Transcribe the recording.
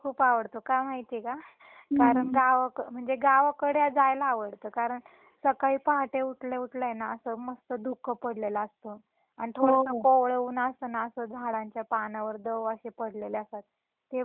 कारण गावकड म्हणजे गावाकडे जायला आवडत कारण सकाळी पहाटे उठल्या उठल्या ए ना अस मस्त धुक पडलेल असतं आणि थोडस कोवळ ऊन असतं ना अस झाडांच्या पानावर दव असे पडलेले असतात ते बघायला किती सुंदर वाटत ना.